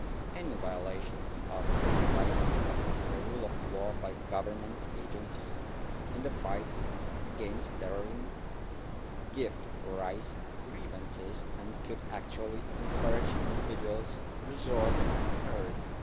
Any violations of human rights and the rule of law by government agencies in the fight against terrorism give rise to grievances and could actually encourage individuals to resort to terrorism.